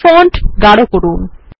font গাড় করুন